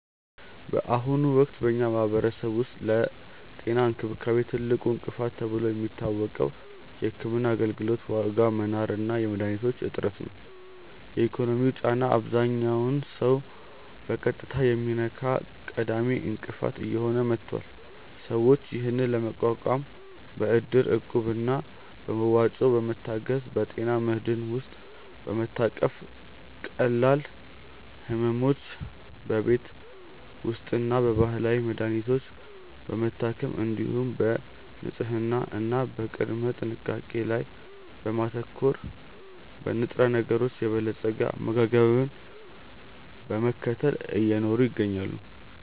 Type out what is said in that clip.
በአሁኑ ወቅት በኛ ማህበረሰብ ውስጥ ለጤና እንክብካቤ ትልቁ እንቅፋት ተብሎ የሚታወቀው የሕክምና አገልግሎት ዋጋ መናር እና የመድኃኒቶች እጥረት ነው። የኢኮኖሚው ጫና አብዛኛውን ሰው በቀጥታ የሚነካ ቀዳሚ እንቅፋት እየሆነ መጥቷል። ሰዎች ይህንን ለመቋቋም በእድር፣ እቁብ እና በመዋጮ በመታገዝ፣ በጤና መድህን ውስጥ በመታቀፍ፣ ቀላል ሕመሞችን በቤት ውስጥና በባህላዊ መድሀኒቶች በመታከም፣ እንዲሁም በንጽህና እና በቅድመ ጥንቃቄ ላይ በማተኮር፣ በንጥረነገሮች የበለፀገ አመጋገብን በመከተል እየኖሩ ይገኛሉ።